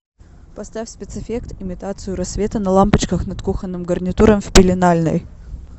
поставь спецэффект имитацию рассвета на лампочках над кухонным гарнитуром в пеленальной